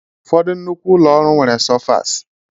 Ụfọdụ nnukwu ụlọ ọrụ nwere sofas